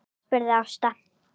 spurði Ásta.